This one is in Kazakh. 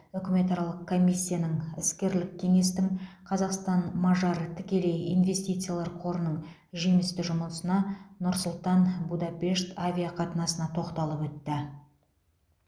үкіметаралық комиссияның іскерлік кеңестің қазақстан мажар тікелей инвестициялар қорының жемісті жұмысына нұр сұлтан будапешт авиақатынасына тоқталып өтті